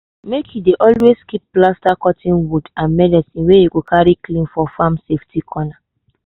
make you dey always keep plaster cotton wool and medicine wey you go carry clean for farm safety corner.